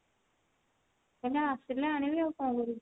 ତମେ ଆସିଲେ ଆଣିବି ଆଉ କଣ କରିବି